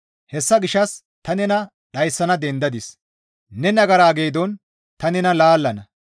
Hessa gishshas ta nena dhayssana dendadis; ne nagara geedon ta nena laallana.